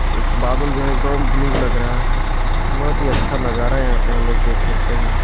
इस बादल जो है एकदम ब्लू लग रहा है बहुत ही अच्छा नज़ारा है यहाँ पे हमलोग देख सकते है।